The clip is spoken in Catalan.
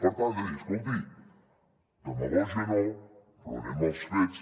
per tant escolti demagògia no però anem als fets